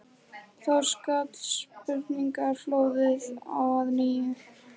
Þá skall spurningaflóðið á að nýju.